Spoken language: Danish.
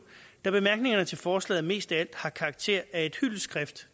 da bemærkningerne til forslaget mest af alt har karakter af et hyldestskrift